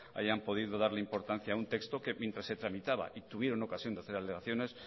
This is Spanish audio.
hayan podido darle importancia a un texto que mientras se tramitaba y tuvieron ocasión de hacer alegaciones